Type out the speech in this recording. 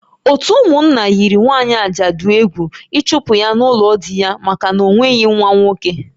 Ótú ụmụnna yiri nwaanyị ajadu egwu ịchụpụ ya n'ụlọ di ya maka na o nweghị nwa nwoke